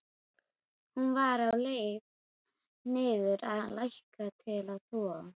Hún var á leið niður að læk til að þvo.